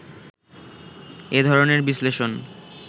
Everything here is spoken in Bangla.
এ ধরনের বিশ্লেষণ